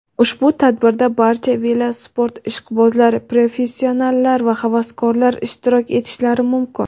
Ushbu tadbirda barcha velosport ishqibozlari – professionallar va havaskorlar ishtirok etishlari mumkin.